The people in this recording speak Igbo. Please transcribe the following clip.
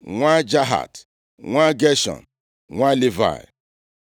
nwa Jahat, nwa Geshọm, nwa Livayị.